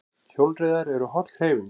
Hjólreiðar eru holl hreyfing